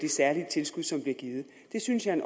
særlige tilskud som bliver givet det synes jeg